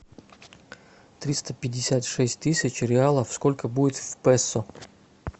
триста пятьдесят шесть тысяч реалов сколько будет в песо